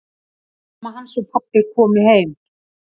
Mamma hans og pabbi komu heim.